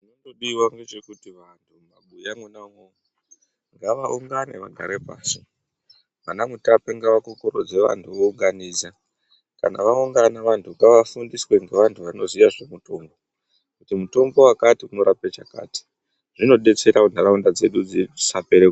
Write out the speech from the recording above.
Chinodiwa nge chekuti vanhu mu mabuya mwona imomo ngava ungane vagare pasi vana mutape ngava kukurudze vantu vo unganidza kana va ungana vantu ngava fundiswe nge vantu vanoziya zve mitombo kuti mutombo wakati unorape chakati zvino detsera kuti ndaraunda dzedu dzisa pere.